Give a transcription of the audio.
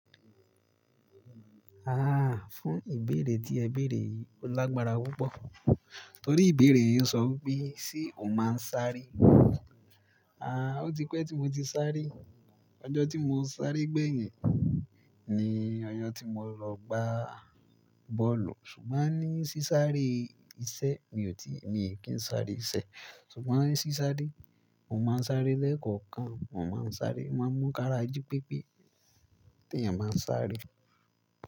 Ah, fún ìbéèrè tí ẹ béèrè yìí ó lágbára púpọ̀. Torí ìbéèrè yín ń sọ wípé, "Ṣé o máa ń sáré?" Ah, ó ti pẹ́ tí mo ti sáré. Ọjọ́ tí mo sáré gbẹ̀yìn ni ọjọ́ tí mo lọ gbá bọ́ọ̀lù. Ṣùgbọ́n ní sí sáré iṣẹ́, mi ò tíì, mi ò kí ń sáré iṣẹ́. Ṣùgbọ́n ní sí sáré, mo máa ń sáré lẹ́ẹ̀kọ̀kan. Mọ máa ń sáré, o máa ń mú kára jí pépé. Tèyan máa ń sáré.